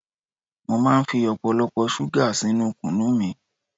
Mo máa ń fi ọ̀pọ̀lọpọ̀ ṣúgà sínú kunu mi